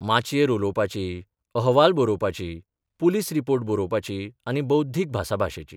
माचयेर उलोवपाची, अहवाल बरोवपाची, पुलीस रिपोर्ट बरोवपाची आनी बौद्धीक भासाभाशेची.